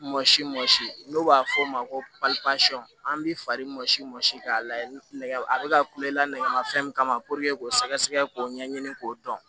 Mɔsi mɔ n'o b'a fɔ o ma ko pali pasiyɔn an b'i fari ɲɔsi mɔsi k'a la nɛgɛ a bɛ ka kule la nɛgɛmafɛn min kama k'o sɛgɛsɛgɛ k'o ɲɛɲini k'o dɔn